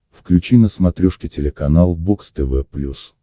включи на смотрешке телеканал бокс тв плюс